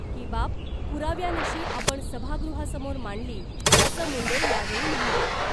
ही बाब पुराव्यानिशी आपण सभागृहासमोर मांडली , असं मुंडे यावेळी म्हणाले .